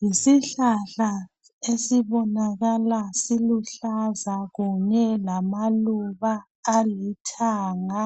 Yisihlahla esibonakala siluhlaza kunhye lamaluba alithanga.